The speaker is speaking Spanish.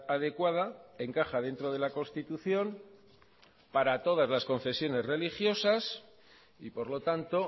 adecuada encaja dentro de la constitución para todas las confesiones religiosas y por lo tanto